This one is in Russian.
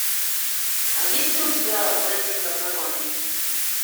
есть ли у тебя блондинка в законе